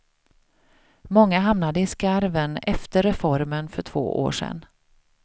Många hamnade i skarven efter reformen för två år sedan.